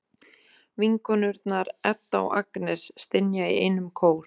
Vinkonurnar, Edda og Agnes, stynja í einum kór.